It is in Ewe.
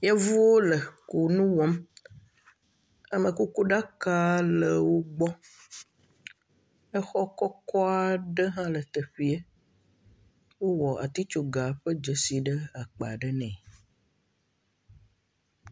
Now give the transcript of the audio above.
Yevuwo le kɔnu wɔa. Amekuku ɖaka le wogbɔ. Exɔ kɔkɔ aɖe hã le teƒee. Wowɔ atsitsoga ƒe dzesi ɖe akpa ɖe nɛ.